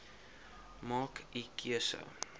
maak u keuse